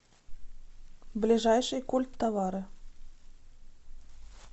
ближайший культтовары